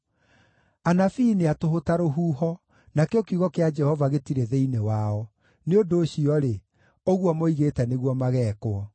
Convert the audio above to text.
Anabii nĩ a tũhũ ta rũhuho, nakĩo kiugo kĩa Jehova gĩtirĩ thĩinĩ wao; nĩ ũndũ ũcio-rĩ, ũguo moigĩte nĩguo mageekwo.”